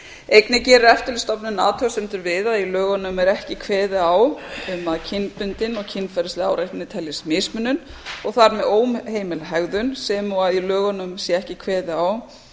einnig gerir eftirlitsstofnunin athugasemdir við að í lögunum er ekki kveðið á um að kynbundin og kynferðisleg áreitni teljist mismunun og þar með óheimil hegðun sem og að í lögunum sé ekki kveðið á